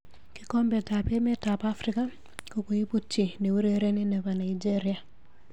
Kikombet ab emet ab Afrika kokoibut chi neurereni nebo Nigeria.